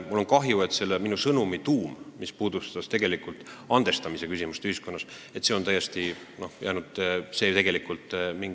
Mul on kahju, et selle minu sõnumi tuum, mis puudutas tegelikult andestamise küsimust ühiskonnas, on jäänud täiesti ...